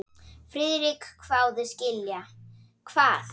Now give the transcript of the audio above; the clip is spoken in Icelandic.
Friðrik hváði: Skilja hvað?